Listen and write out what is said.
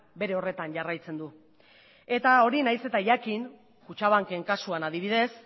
bere horretan jarraitzen du eta hori nahiz eta jakin kutxabanken kasuan adibidez